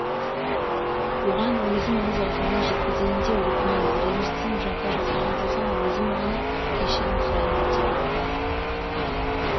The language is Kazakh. оған өзім өз аузымнан жет-кізейін де өтінейін ренжітсем жапа жасаған болсам өзім ға-на кешірім сұрайын өтегелді